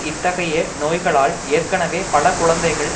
இத்தகைய நோய்களால் ஏற்கெனவே பல குழந்தைகள்